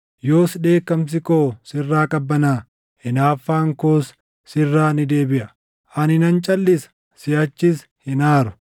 Yoos dheekkamsi koo sirraa qabbanaaʼa; hinaaffaan koos sirraa ni deebiʼa; ani nan calʼisa; siʼachis hin aaru.